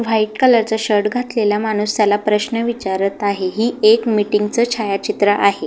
White colour चा shirt घातलेला माणूस त्याला प्रश्न विचारत आहे ही एक मिटिंग चा छायाचित्र आहे.